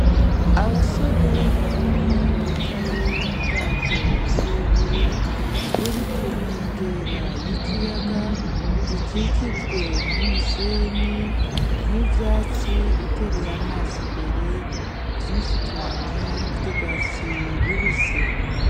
Abasore babiri bicaye mu bwato burebure; buri ku nkengera y'ikiyaga. Gikikijwe n'umusenyi, n'ivyatsi, utereye amaso imbere. Ni vyinshi cane vy'urwatsi rubisi.